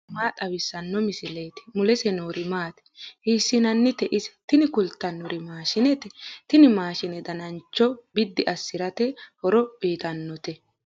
tini maa xawissanno misileeti ? mulese noori maati ? hiissinannite ise ? tini kultannori maashinete. tini maashine danancho biddi assirate horo uyiitannote.